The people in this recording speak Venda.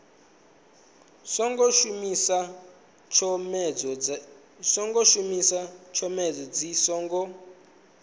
songo shumisa tshomedzo dzi songo